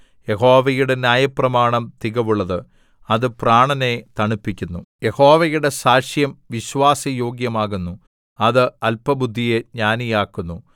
യഹോവയുടെ ന്യായപ്രമാണം തികവുള്ളത് അത് പ്രാണനെ തണുപ്പിക്കുന്നു യഹോവയുടെ സാക്ഷ്യം വിശ്വാസ യോഗ്യമാകുന്നു അത് അല്പബുദ്ധിയെ ജ്ഞാനിയാക്കുന്നു